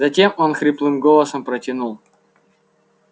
затем он хриплым голосом протянул